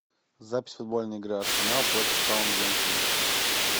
запись футбольной игры арсенал против саутгемптона